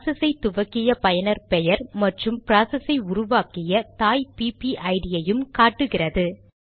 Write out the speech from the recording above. process ஐ துவக்கிய பயனர் பெயர் மற்றும் ப்ராசஸ் ஐ உருவக்கிய தாய் பிபிஐடிPPID ஐயும் காட்டுகிறது